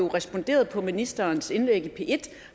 responderede på ministerens indlæg i p1